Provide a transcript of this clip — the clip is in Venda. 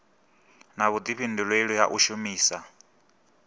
na vhudifhinduleli ha u shumisa